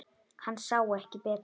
Hann sá ekki betur.